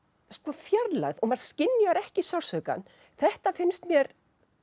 fjarlægð og maður skynjar ekki sársaukann þetta finnst mér